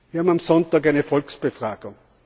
Wir haben am Sonntag eine Volksbefragung.